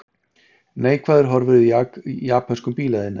Neikvæðar horfur í japönskum bílaiðnaði